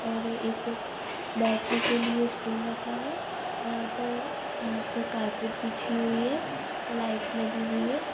और एक बैठने के लिए स्टूल रखा है और यहां पर यहां पर कार्पेट बिछी हुई है लाइट लगी हुई है।